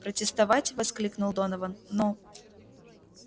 протестовать воскликнул донован но